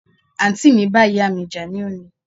Àǹtì mi bá ìyáà mi jà ní òní